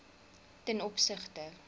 ten opsigte